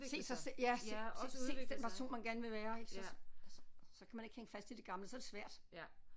Se sig selv ja se se den person man gerne vil være ik så altså så kan man ikke holde fast i det gamle så er det svært